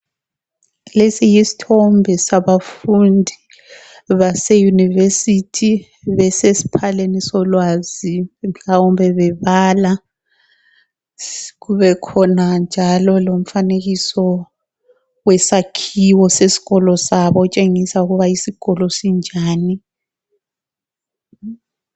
Lesi yisthombe sabafundi base yunivesithi besesiphaleni solwazi mhlawumbe bebala. Kube khona njalo lomfanekiso wesakhiwo sesikolo sabo otshengisa ukuba isikolo sinjani.